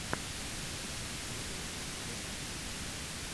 паблоковалли ютьюб